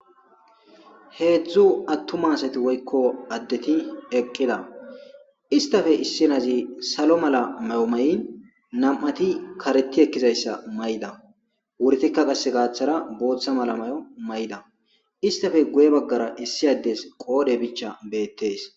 Hezu atuma asati woyiko adeti eqida isitape issinazi salomala mayo ma'in na'ati kareti ekizayisa ma'iza ubatika gathara botha mayo ma'ida isitape guyera issi ades qodhe bichay betes